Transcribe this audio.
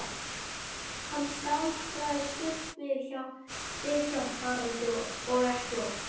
Hann staldraði stutt við hjá Haraldi og ekki oft.